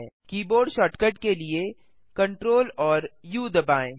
keyboard shortcut के लिए Ctrl और उ दबाएँ